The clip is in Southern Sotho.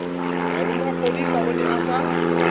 malomafodisa o ne a sa